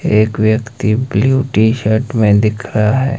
एक व्यक्ति blue T shirt में दिख रहा है।